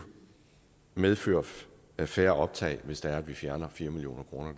medføre færre optag hvis der er at vi fjerner fire million kroner